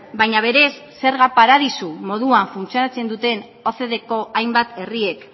baina berez zerga paradisu moduan funtzionatzen ocdeko hainbat herriek